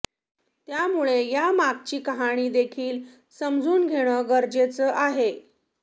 त्यामुळे यामागची कहाणी देखील समजून घेणं गरजेचं आहे